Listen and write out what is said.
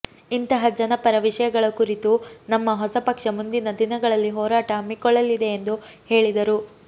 ಇಂತಹ ಜನಪರ ವಿಷಯಗಳ ಕುರಿತು ನಮ್ಮ ಹೊಸ ಪಕ್ಷ ಮುಂದಿನ ದಿನಗಳಲ್ಲಿ ಹೋರಾಟ ಹಮ್ಮಿಕೊಳ್ಳಲಿದೆ ಎಂದು ಹೇಳಿದರು